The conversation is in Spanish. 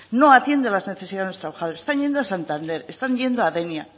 no atiende a las necesidades de los trabajadores están yendo a santander están yendo a denia